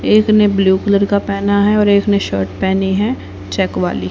एक ने blue colour का पेहना है और एक ने शर्ट पेहनी है चेक वाली।